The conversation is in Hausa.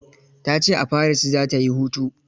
Ta ce a Paris za ta yi hutu.